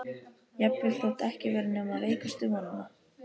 Jafnvel þótt ekki væri nema veikustu vonina.